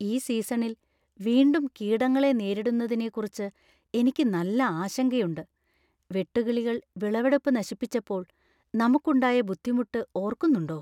ഈ സീസണിൽ വീണ്ടും കീടങ്ങളെ നേരിടുന്നതിനെക്കുറിക്ക് എനിക്ക് നല്ല ആശങ്കയുണ്ട്. വെട്ടുക്കിളികൾ വിളവെടുപ്പ് നശിപ്പിച്ചപ്പോൾ നമുക്കുണ്ടായ ബുദ്ധിമുട്ട് ഓർക്കുന്നുണ്ടോ?